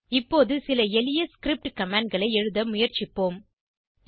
இப்போது சில எளிய ஸ்கிரிப்ட் commandகளை எழுத முயற்சிப்போம்